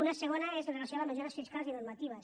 una segona és amb relació a les mesures fiscals i normatives